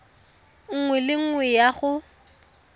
nngwe le nngwe ya go